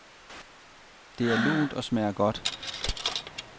Det er lunt og smager godt.